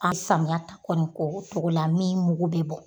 An samiyata kɔni koko la min mugu bɛ bɔ.